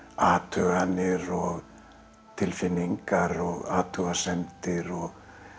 athuganir og tilfinningar og athugasemdir og